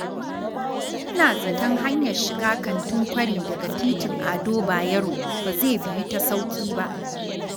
Ina zaton hanyar shiga Kantin Kwari daga titin Ado Bayero ba zai biyu ta sauƙi ba.